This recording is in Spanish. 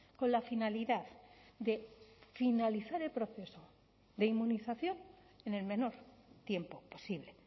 con la finalidad de finalizar el proceso de inmunización en el menor tiempo posible